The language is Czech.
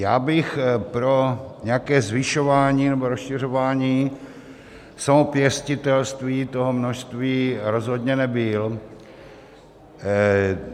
Já bych pro nějaké zvyšování nebo rozšiřování samopěstitelství toho množství rozhodně nebyl.